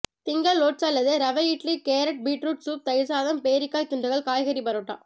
திங்கள் ஓட்ஸ் அல்லது ரவை இட்லி கேரட் பீட்ரூட் சூப் தயிர் சாதம் பேரிக்காய் துண்டுகள் காய்கறி பரோட்டா